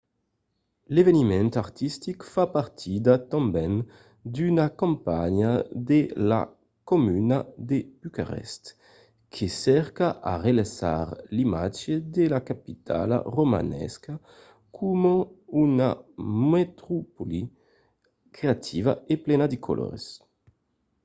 l’eveniment artistic fa partida tanben d’una campanha de la comuna de bucarest que cerca a relançar l'imatge de la capitala romanesa coma una metropòli creativa e plena de colors